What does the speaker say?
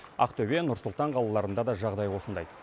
ақтөбе нұр сұлтан қалаларында да жағдай осындай